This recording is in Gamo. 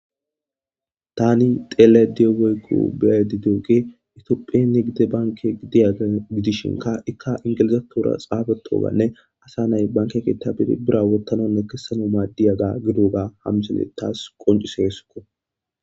tani tele diyo weykku beadi duoqe itophenne gide banke diyaga gidishinka ikka ingilizatora xaabatoganne asa nay banke kitabiri bira wottanonne kessano maadiyaga gidoga hamsale taas qoncisheesuko